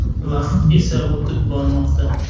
Vaqt esa o‘tib bormoqda.